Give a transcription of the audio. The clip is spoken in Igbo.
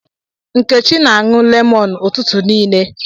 Nkechi na-aṅụ lemon ụtụtụ niile.